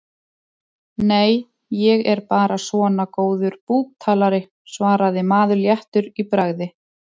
Nei, ég er bara svona góður búktalari, svaraði maður léttur í bragði.